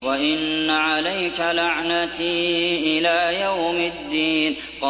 وَإِنَّ عَلَيْكَ لَعْنَتِي إِلَىٰ يَوْمِ الدِّينِ